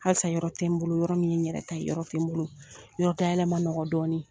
Halisa yɔrɔ tɛ n bolo, yɔrɔ min ye yɛrɛ ta ye. Yɔrɔ tɛ n bolo, yɔrɔ dayɛlɛ ma nɔgɔ dɔɔnin.